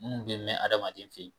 Munnu bɛ mɛn adamaden fɛ yen